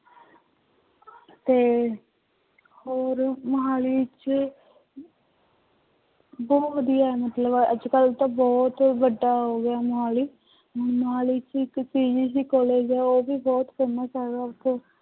ਤੇ ਮੁਹਾਲੀ ਚ ਬਹੁਤ ਵਧੀਆ ਮਤਲਬ ਅੱਜ ਕੱਲ੍ਹ ਤਾਂ ਬਹੁਤ ਵੱਡਾ ਹੋ ਗਿਆ ਮੁਹਾਲੀ, ਮੁਹਾਲੀ ਚ ਇੱਕ PGC college ਹੈ ਉਹ ਵੀ ਬਹੁਤ famous ਹੈਗਾ ਇੱਥੇ।